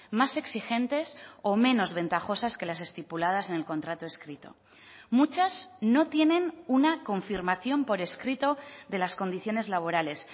más exigentes o menos ventajosas que las estipuladas en el contrato escrito muchas no tienen una confirmación por escrito de las condiciones laborales